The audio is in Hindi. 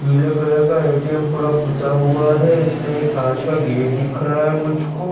नीले कलर का ए.टी.एम पूरा पूता हुआ है। इसमें एक कांच का गेट दिख रहा है मुझको।